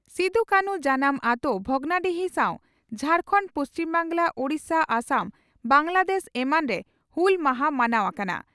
ᱥᱤᱫᱚᱼᱠᱟᱱᱷᱩ ᱡᱟᱱᱟᱢ ᱟᱹᱛᱳ ᱵᱷᱚᱜᱽᱱᱟᱰᱤᱦᱤ ᱥᱟᱣ ᱡᱷᱟᱨᱠᱟᱱᱰ, ᱯᱩᱪᱷᱤᱢ ᱵᱟᱝᱜᱽᱞᱟ, ᱳᱰᱤᱥᱟ, ᱟᱥᱟᱢ, ᱵᱟᱝᱜᱽᱞᱟᱫᱮᱥ ᱮᱢᱟᱱ ᱨᱮ ᱦᱩᱞ ᱢᱟᱦᱟ ᱢᱟᱱᱟᱣ ᱟᱠᱟᱱᱟ ᱾